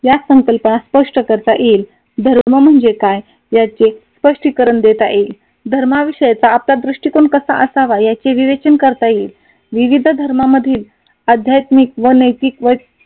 या संकल्पना स्पष्ट करता येईल धर्म म्हणजे काय? याचे स्पष्टीकरण देता येईल. धर्माविषयीचा आपला दृष्टिकोन कसा असावा? याचे विवेचन करता येईल. विविध धर्मामधील आध्यात्मिक व नैतिक